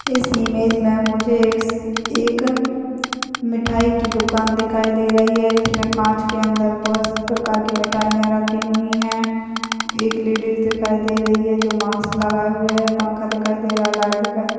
इस इमेज में मुझे एक मिठाई की दुकान दिखाई दे रही है जिसमें कांच के अंदर दस प्रकार की मिठाई रखी हुई हैंइटली डिश दिखाई दे रही हैंजो मास्क लगाया हुआ हैं पंखा दिखाई दे रहा है लाइट्स दिखाई दे रहा हैं।